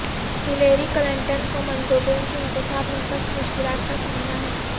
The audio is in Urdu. ہلیری کلنٹن کو مندوبین کے انتخاب میں سخت مشکلات کا سامنا ہے